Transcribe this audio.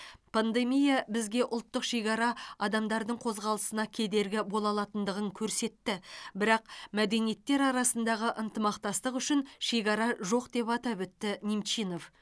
пандемия бізге ұлттық шекара адамдардың қозғалысына кедергі бола алатындығын көрсетті бірақ мәдениеттер арасындағы ынтымақтастық үшін шекара жоқ деп атап өтті немчинов